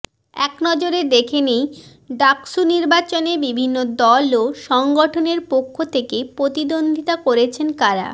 এক নজরে দেখে নেই ডাকসু নির্বাচনে বিভিন্ন দল ও সংগঠনের পক্ষ থেকে প্রতিদ্বন্দ্বিতা করছেন কারা